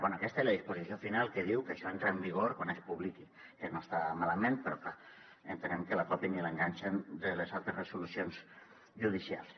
bé aquesta i la disposició final que diu que això entra en vigor quan es publiqui que no està malament però clar entenem que la copien i l’enganxen de les altres resolucions judicials